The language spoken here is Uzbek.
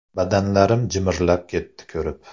Badanlarim jimirlab ketdi ko‘rib.